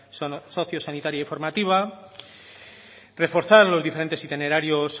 sociosanitaria y formativa reforzar los diferentes itinerarios